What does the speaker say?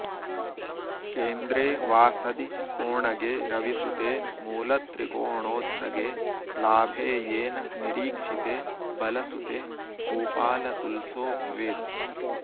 केन्द्रे वा शदि कोणगे रविसुते मूलत्रिकोणोच्चगे लाभेयेन निरीक्षिते बलशुते भूपालतुल्शो भवेत्